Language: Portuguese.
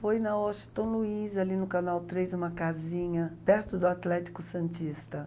Foi na Washington Luiz, ali no Canal três, em uma casinha, perto do Atlético Santista.